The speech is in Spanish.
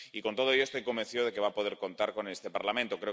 Con todo ello, estoy convencido de que va a poder contar con este Parlamento.